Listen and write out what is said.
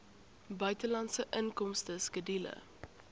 buitelandse inkomste skedule